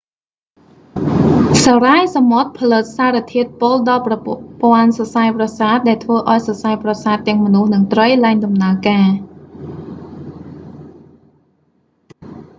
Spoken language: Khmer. សារាយសមុទ្រផលិតសារធាតុពុលដល់ប្រព័ន្ធសរសៃប្រសាទដែលធ្វើអោយសរសៃប្រសាទទាំងមនុស្សនិងត្រីលែងដំណើរការ